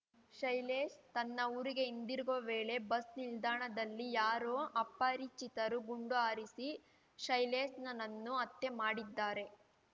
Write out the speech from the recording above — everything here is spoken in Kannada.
ಶೈಲೇಶ್ ತನ್ನ ಊರಿಗೆ ಹಿಂದಿರುಗುವ ವೇಳೆ ಬಸ್ ನಿಲ್ದಾಣದಲ್ಲಿ ಯಾರೋ ಅಪರಿಚಿತರು ಗುಂಡು ಹಾರಿಸಿ ಶೈಲೇಶ್‌ನನ್ನು ಹತ್ಯೆ ಮಾಡಿದ್ದಾರೆ